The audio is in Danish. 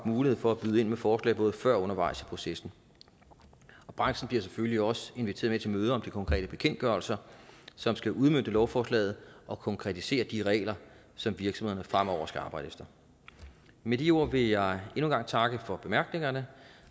mulighed for at byde ind med forslag både før og undervejs i processen branchen bliver selvfølgelig også inviteret med til møder om de konkrete bekendtgørelser som skal udmønte lovforslaget og konkretisere de regler som virksomhederne fremover skal arbejde efter med de ord vil jeg endnu en gang takke for bemærkningerne